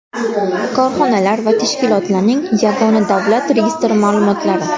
Korxonalar va tashkilotlarning yagona davlat registri ma’lumotlari.